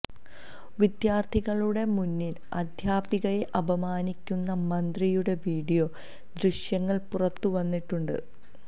വിദ്യാര്ഥികളുടെ മുന്നില് അധ്യാപികയെ അപമാനിക്കുന്ന മന്ത്രിയുടെ വീഡിയോ ദൃശ്യങ്ങള് പുറത്തു വന്നിട്ടുണ്ട്